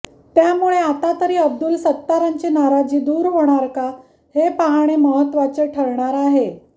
त्यामुळे आता तरी अब्दुल सत्तारांची नाराजी दूर होणार का हे पाहणे महत्त्वाचे ठरणार आहे